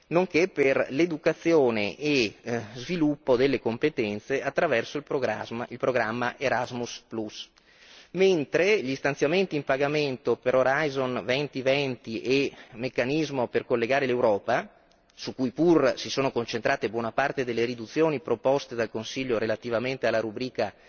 nonché per l'educazione e sviluppo delle competenze attraverso il programma Erasmus, mentre gli stanziamenti in pagamento per Horizon 2020 e Meccanismo per collegare l'Europa, su cui pur si sono concentrate buona parte delle riduzioni proposte dal Consiglio relativamente alla rubrica